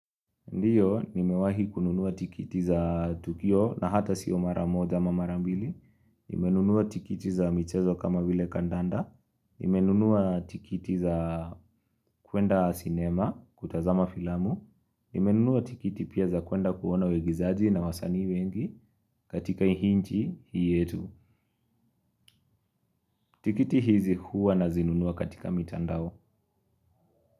Ndiyo, nimewahi kununua tikiti za tukio na hata sio mara moja ama mara mbili. Nimenunua tikiti za michezo kama vile kandanda. Nimenunua tikiti za kwenda sinema kutazama filamu. Nimenunuwa tikiti pia za kwenda kuona waigizaji na wasanii wengi katika hii nchi hii yetu. Tikiti hizi huwa nazinunua katika mitandao.